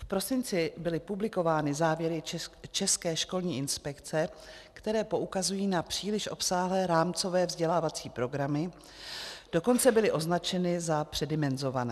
V prosinci byly publikovány závěry České školní inspekce, které poukazují na příliš obsáhlé rámcové vzdělávací programy, dokonce byly označeny za předimenzované.